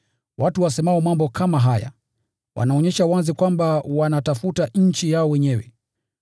Watu wasemao mambo kama haya, wanaonyesha wazi kwamba wanatafuta nchi yao wenyewe.